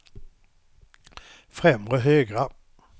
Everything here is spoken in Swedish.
främre högra